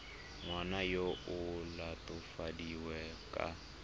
ngwana yo o latofadiwang ka